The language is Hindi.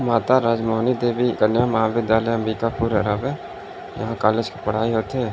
माता राजमानी देबी कन्या महाविद्यालय अंबिकापुर अरब हे यहाँ कॉलेज के पढ़ाई होथे।